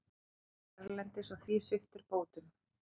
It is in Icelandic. Dvöldu erlendis og því sviptir bótum